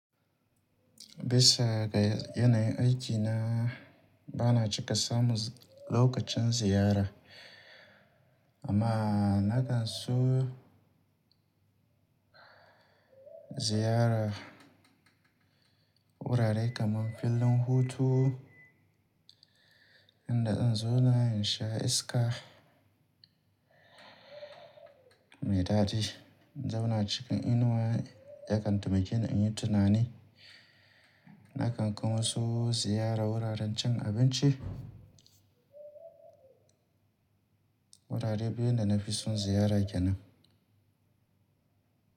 Bisa ga yanayin aikina, bana cika samun lokacin ziyara amma na kan son ziyara wurare kamar filin hutu inda zan zauna in sha iska mai daɗi. In zauna cikin inuwa ya kan taimake ni in yi tunani. Na kan kuma so ziyara wuraren cin abinci. Wurare biyu da na fi son ziyara kenan.